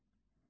Qobustan.